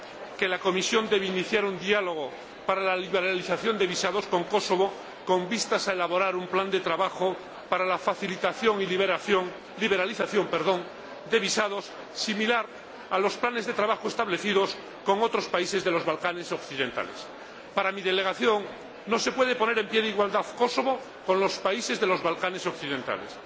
que la Comisión debe iniciar un diálogo para la liberalización de visados con Kosovo con vistas a elaborar un plan de trabajo para la facilitación y liberalización de visados similar a los planes de trabajo establecidos con otros países de los Balcanes Occidentales. Para mi delegación, no se puede poner en pie de igualdad Kosovo con los países de los Balcanes Occidentales.